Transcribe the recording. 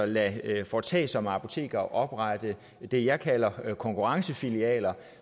lade foretagsomme apotekere oprette det jeg kalder konkurrencefilialer